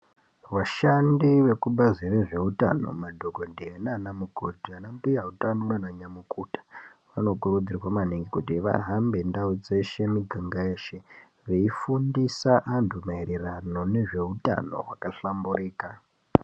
Vashandi vekubazi rezveutano madhokodheya naanamukoti, anambuya utano ,naananyamukuta, vanokurudzirwa maningi kuti vahambe ndau dzeshe miganga yeshe, veifundisa antu maererano nezveutano hwakahlamburika.